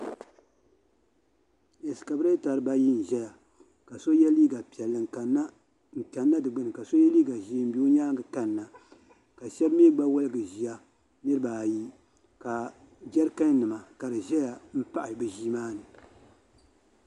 Ɛskaveeta dibaayi n-ʒia ka so ye liiga piɛlli n-kanna di gbini ka so ye liiga ʒee m-be o nyaaŋga kanna ka shɛba mi gba woligi ʒia niriba ayi ka jarikannima ka di zaya m-pahi bɛ ʒia maa ni.